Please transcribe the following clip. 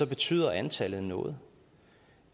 betyder antallet noget